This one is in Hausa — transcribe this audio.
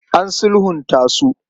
An sulhunta su.